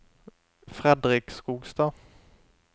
Fredrik Skogstad